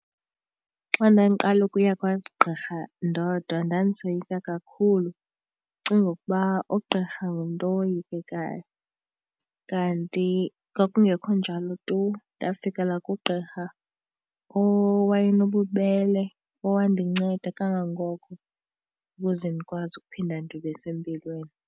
Xa ndandiqala ukuya kwagqirha ndodwa ndandisoyika kakhulu ndicinga ukuba ugqirha ngumntu owoyikekayo. Kanti kwakungekho njalo tu, ndafikela kugqirha owaye nobubele owandinceda kangangoko ukuze ndikwazi ukuphinda ndibe sempilweni.